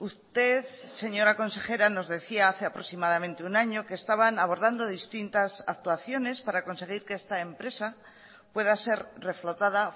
usted señora consejera nos decía hace aproximadamente un año que estaban abordando distintas actuaciones para conseguir que esta empresa pueda ser reflotada